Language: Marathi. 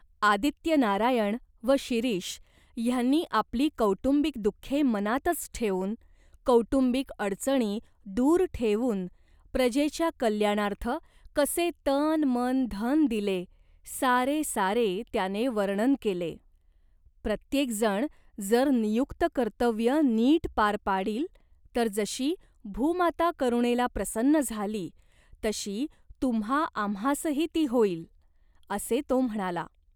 आदित्यनारायण व शिरीष ह्यांनी आपली कौटुंबिक दुःखे मनातच ठेवून, कौटुंबिक अडचणी दूर ठेवून प्रजेच्या कल्याणार्थ कसे तनमनधन दिले, सारे सारे त्याने वर्णन केले. 'प्रत्येक जण जर नियुक्त कर्तव्य नीट पार पाडील, तर जशी भूमाता करुणेला प्रसन्न झाली, तशी तुम्हाआम्हासही ती होईल, ' असे तो म्हणाला.